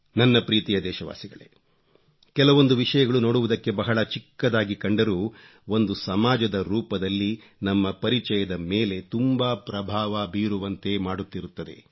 ನನ್ನ ಪ್ರೀತಿಯ ದೇಶವಾಸಿಗಳೇ ಕೆಲವೊಂದು ವಿಶಯಗಳು ನೋಡುವುದಕ್ಕೆ ಬಹಳ ಚಿಕ್ಕದಾಗಿ ಕಂಡರೂ ಒಂದು ಸಮಾಜದ ರೂಪದಲ್ಲಿ ನಮ್ಮ ಪರಿಚಯದ ಮೇಲೆ ತುಂಬಾ ಪ್ರಭಾವ ಬೀರುವಂತೆ ಮಾಡುತ್ತಿರುತ್ತದೆ